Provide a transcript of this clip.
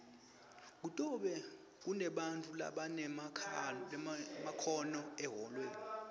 kutobe kunebantfu labanemakhono ehholweni